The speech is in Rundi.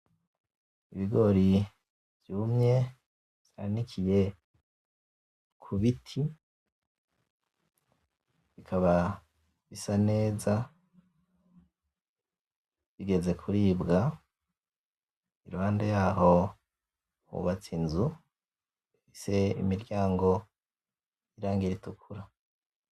Ibigori vyumye vyanikiye ku biti, bikaba bisa neza bigeze kuribwa, iruhande yaho hubatse inzu ifise imiryango y’irangi ritukura.